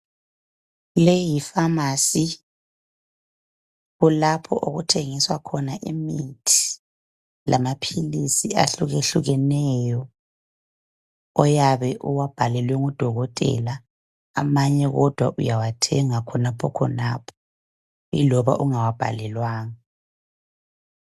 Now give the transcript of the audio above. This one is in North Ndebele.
Leyi yifamasi, kulapho okuthengiswa khona imithi lamaphilisi ahlukehlukeneyo, oyabe uwabhalelwe ngudokotela, amanye kodwa uyawathenga khonaphokhonapho iloba ungawabhalelwanga.